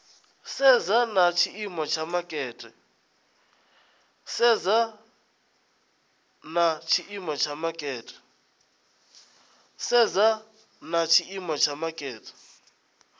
sedza na tshiimo tsha makete